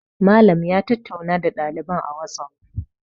Malam ya tattauna da ɗaliban a wasof